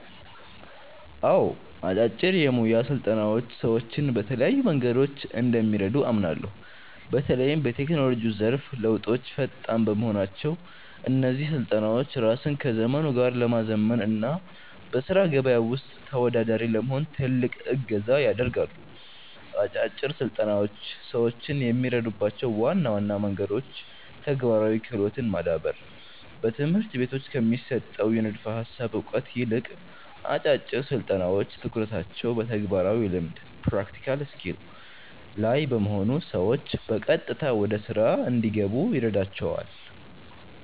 አዎ፣ አጫጭር የሞያ ስልጠናዎች ሰዎችን በተለያዩ መንገዶች እንደሚረዱ አምናለሁ። በተለይም በቴክኖሎጂው ዘርፍ ለውጦች ፈጣን በመሆናቸው፣ እነዚህ ስልጠናዎች ራስን ከዘመኑ ጋር ለማዘመን እና በሥራ ገበያው ውስጥ ተወዳዳሪ ለመሆን ትልቅ እገዛ ያደርጋሉ። አጫጭር ስልጠናዎች ሰዎችን የሚረዱባቸው ዋና ዋና መንገዶች ተግባራዊ ክህሎትን ማዳበር፦ በትምህርት ቤቶች ከሚሰጠው የንድፈ ሃሳብ እውቀት ይልቅ፣ አጫጭር ስልጠናዎች ትኩረታቸው በተግባራዊ ልምድ (Practical Skill) ላይ በመሆኑ ሰዎች በቀጥታ ወደ ሥራ እንዲገቡ ይረዳቸዋል።